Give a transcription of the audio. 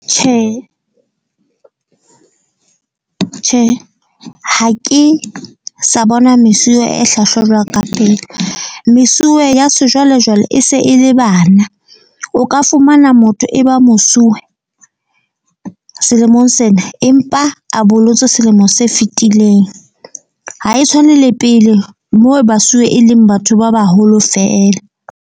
Tjhe tjhe, ha ke sa bona mesuwe e hlwahlwa jwalo ka pele. Mesuwe ya sejwalejwale e se e le bana. O ka fumana motho e ba mosuwe selemong sena empa a bolotswe selemo se fitileng. Ha e tshwane le pele moo basuwe e leng batho ba baholo fela.